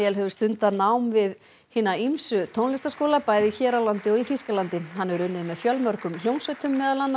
hefur stundað nám við hina ýmsu tónlistarskóla bæði hér á landi og í Þýskalandi hann hefur unnið með fjölmörgum hljómsveitum meðal annars